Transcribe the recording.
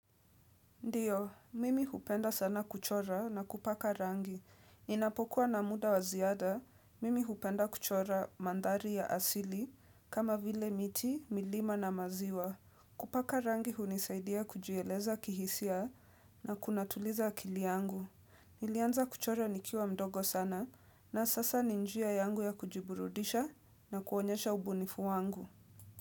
Ndiyo, mimi hupenda sana kuchora na kupaka rangi. Ninapokuwa na muda waziada, mimi hupenda kuchora manthari ya asili kama vile miti, milima na maziwa. Kupaka rangi hunisaidia kujieleza kihisia na kunatuliza akili yangu. Nilianza kuchora nikiwa mdogo sana na sasa ni njia yangu ya kujiburudisha na kuonyesha ubunifu wangu.